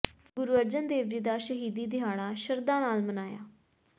ਗੁਰੂ ਅਰਜਨ ਦੇਵ ਜੀ ਦਾ ਸ਼ਹੀਦੀ ਦਿਹਾੜਾ ਸ਼ਰਧਾ ਨਾਲ ਮਨਾਇਆ